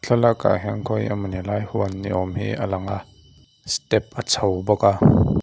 thlalakah hian khawi emawni lai huan ni awm hi a lang a step a chho bawk a.